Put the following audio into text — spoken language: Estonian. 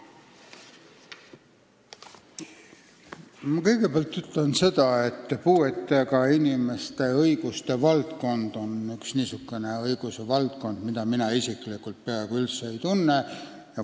Ma kõigepealt ütlen, et puuetega inimeste õigused on üks niisugune õiguse valdkond, mida mina isiklikult peaaegu üldse ei tunne.